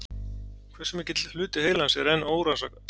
Hversu mikill hluti heilans er enn órannsakaður?